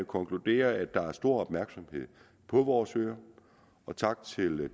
konkludere at der er stor opmærksomhed på vores øer og tak til